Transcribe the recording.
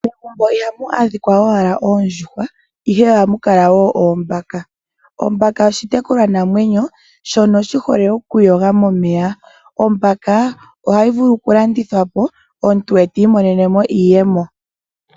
Megumbo ihamu adhika owala oondjuhwa, ihe oha mu kala woo oombaka. Ombaka oshitekulwanamwenyo shono shi hole okuyoga momeya. Ombaka ohayi vulu okulandithwapo omuntu ti imonenemo iiyemo.